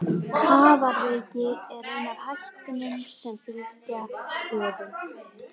Kafaraveiki er ein af hættunum sem fylgja köfun.